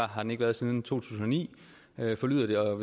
har den ikke været siden to tusind og ni forlyder det og